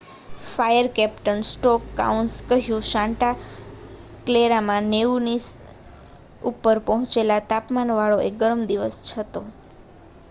"Fire captain Scott કાઉન્સે કહ્યું "Santa ક્લેરામાં 90ની ઉપર પહોંચેલા તાપમાનવાળો એ ગરમ દિવસ હતો.